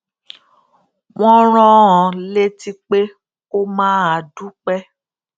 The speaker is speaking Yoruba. wón rán an létí pé kó máa dúpé